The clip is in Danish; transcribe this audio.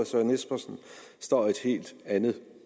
søren espersen står et helt andet